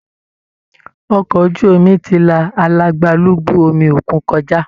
Ọkọ ojú omi ti la alagbalúgbú omi òkun kọjá